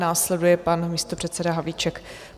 Následuje pan místopředseda Havlíček.